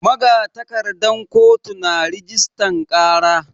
Magatakardan kotu na rajistan ƙara.